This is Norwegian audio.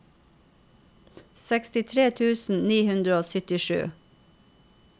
sekstitre tusen ni hundre og syttisju